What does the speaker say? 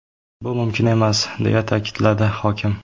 Bu mumkin emas”, deya ta’kidladi hokim.